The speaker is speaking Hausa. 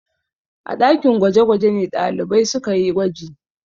A ɗakin gwaje-gwaje ne ɗalibai suka yi gwaji.